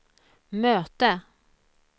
möte